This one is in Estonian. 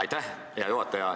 Aitäh, hea juhataja!